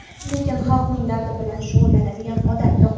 lekin xalqning dardi bilan shug‘ullanadigan odam yo‘q.